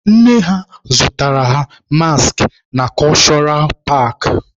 Nne ha zụtaara ha maskị na kọshụra paakị.